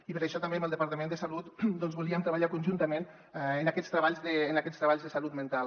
i per això també amb el departament de salut volíem treballar conjuntament en aquests tre·balls de salut mental